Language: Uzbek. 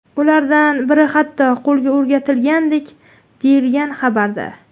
Ulardan biri hatto qo‘lga o‘rgatilgandek”, deyilgan xabarda.